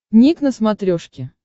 ник на смотрешке